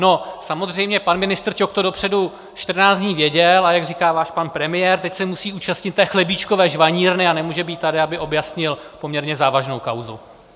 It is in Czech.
No samozřejmě pan ministr Ťok to dopředu 14 dní věděl, a jak říká váš pan premiér, tak se musí účastnit té chlebíčkové žvanírny a nemůže být tady, aby objasnil poměrně závažnou kauzu.